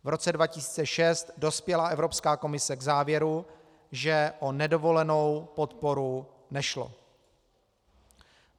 V roce 2006 dospěla Evropská komise k závěru, že o nedovolenou podporu nešlo.